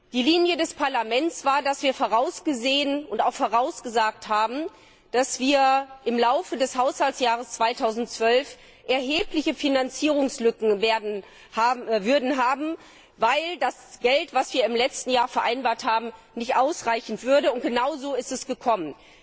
Die Linie des Parlaments war, dass wir vorausgesehen und auch vorausgesagt haben, dass wir im Laufe des Haushaltsjahres 2012 erhebliche Finanzierungslücken haben würden, weil die Mittel, die wir im letzten Jahr vereinbart hatten, nicht ausreichen würden, und genau so ist es gekommen!